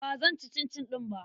Ba zan ci cincin ɗin ba.